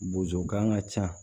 Bozokan ka ca